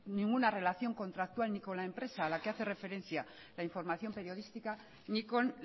ninguna relación contractual ni con la empresa a la que hace referencia la información periodística ni con